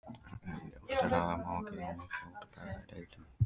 Ljóst er að það má þó ekki mikið út af bregða í deildinni.